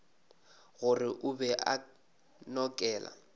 gore o be a nokela